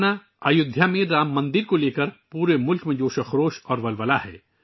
میرے پریوار جنو، ایودھیا میں رام مندر کے سلسلے میں پورے ملک میں جوش اور ولولہ ہے